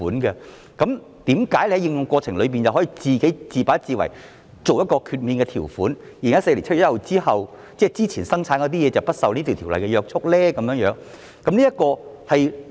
那麼為何政府在修訂條例過程中卻可以自把自為加入豁免條款，讓在2014年7月1日前建造的貨櫃不用受若干約束呢？